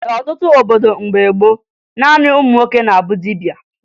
N'ọtụtụ obodo mgbe gboo, naanị ụmụ nwoke na-abụ dibia